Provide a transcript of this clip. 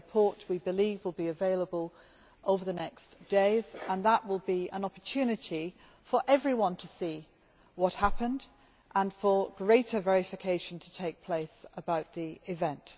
Their report, we believe, will be available in the coming days, and that will be an opportunity for everyone to see what happened and for greater verification to take place about the event.